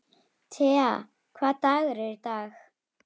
Tea, hvaða dagur er í dag?